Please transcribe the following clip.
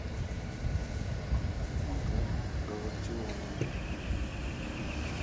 макар галактионов